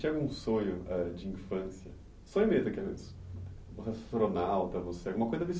Algum sonho âh de infância? Sonho mesmo astronauta, você, alguma coisa